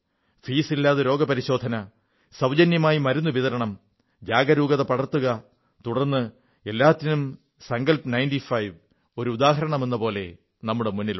ഫീസില്ലാതെ രോഗപരിശോധന സൌജന്യമായി മരുന്നു വിതരണം ജാഗരൂകത പടർത്തുക തുടർന്ന് എല്ലാത്തിനും സങ്കൽപ് 95 ഒരു ഉദാഹരണമെന്നപോലെ നമ്മുടെ മുന്നിലുണ്ട്